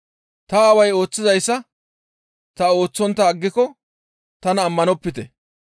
Ta Aaway ooththizayssa ta ooththontta aggiko tanan ammanopite.